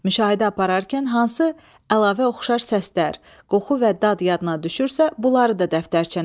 Müşahidə apararkən hansı əlavə oxşar səslər, qoxu və dad yadına düşürsə, bunları da dəftərçənə yaz.